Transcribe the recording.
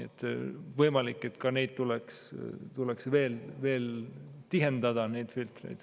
Võimalik, et neid filtreid tuleks veel tihendada.